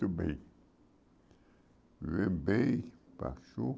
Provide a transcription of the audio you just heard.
bem vivemos bem, baixou.